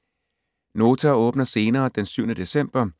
Nota åbner senere den 7. december